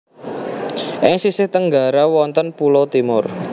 Ing sisih tenggara wonten pulo Timor